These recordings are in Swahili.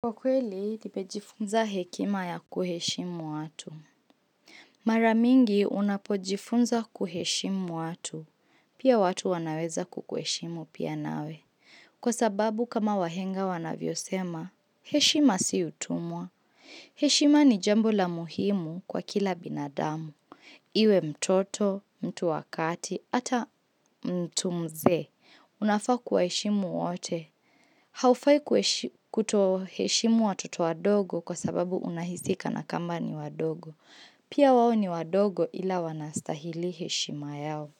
Kwa kweli, nimejifunza hekima ya kuheshimu watu. Maramingi unapojifunza kuheshimu watu. Pia watu wanaweza kukuheshimu pia nawe. Kwa sababu kama wahenga wanavyo sema, heshima si utumwa. Heshima ni jambo la muhimu kwa kila binadamu. Iwe mtoto, mtu wakati, ata mtu mze. Unafa kuwaheshimu wote. Haufai kuto heshimu watoto wadogo kwa sababu unahisi kana kwamba ni wadogo. Pia wawo ni wadogo ila wanastahili heshima yao.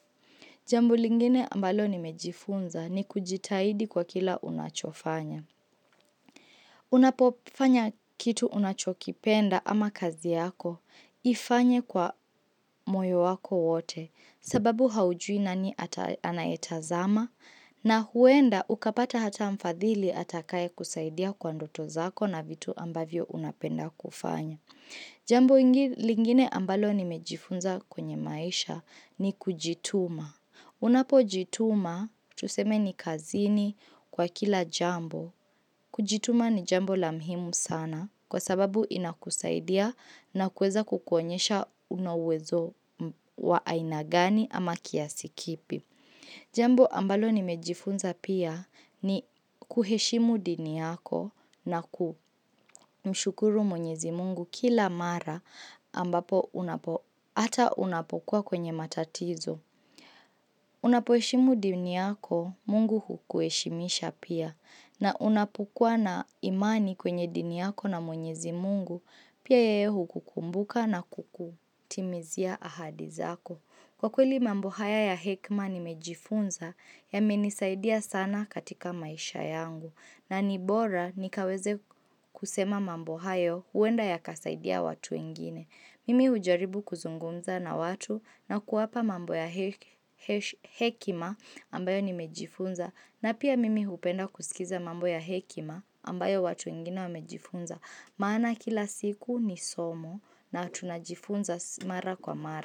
Jambo lingine ambalo nimejifunza ni kujitaidi kwa kila unachofanya. Unapofanya kitu unachokipenda ama kazi yako ifanye kwa moyo wako wote sababu haujui nani ata anayetazama na huenda ukapata hata mfadhili atakaye kusaidia kwa ndoto zako na vitu ambavyo unapenda kufanya. Jambo lingine ambalo nimejifunza kwenye maisha ni kujituma. Unapo jituma tuseme ni kazini kwa kila jambo. Kujituma ni jambo la mhimu sana kwa sababu inakusaidia na kueza kukonyesha unowezo wa aina gani ama kiasi kipi. Jambo ambalo nimejifunza pia ni kuheshimu dini yako na ku mshukuru mwenyezi mungu kila mara ambapo ata unapokuwa kwenye matatizo. Unapoheshimu dini yako mungu hukueshimisha pia na unapukua na imani kwenye dini yako na mwenyezi mungu pia yeye hukukumbuka na kukutimizia ahadizako. Kwa kweli mambo haya ya hekima nimejifunza yamenisaidia sana katika maisha yangu. Na nibora nikaweze kusema mambo haya uenda yakasaidia watu wengine. Mimi ujaribu kuzungunza na watu na kuapa mambo ya hekima ambayo nimejifunza. Na pia mimi upenda kusikiza mambo ya hekima ambayo watu ingine wamejifunza. Maana kila siku ni somo na tunajifunza mara kwa mara.